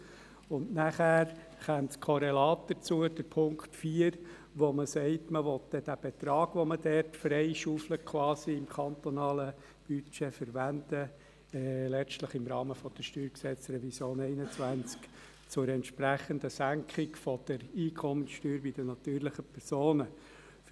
Dann käme das Korrelat dazu, Punkt 4, wo man sagt, man wolle den Betrag, den man im kantonalen Budget quasi freischaufelt, letztlich im Rahmen der Revision 2021 des Steuergesetzes (StG) zur entsprechenden Senkung der Einkommenssteuer bei natürlichen Personen verwenden.